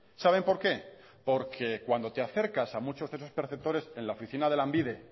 saben por qué por que cuando te acercas a muchos de los perceptores en la oficina de lanbide